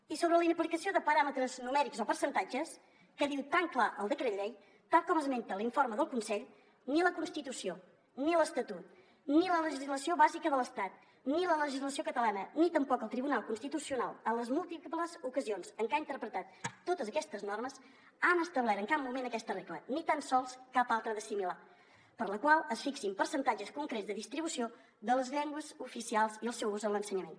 i sobre la inaplicació de paràmetres numèrics o percentatges que diu tan clar el decret llei tal com esmenta l’informe del consell ni la constitució ni l’estatut ni la legislació bàsica de l’estat ni la legislació catalana ni tampoc el tribunal constitucional en les múltiples ocasions en què ha interpretat totes aquestes normes han establert en cap moment aquesta regla ni tan sols cap altra de similar per la qual es fixin percentatges concrets de distribució de les llengües oficials i el seu ús en l’ensenyament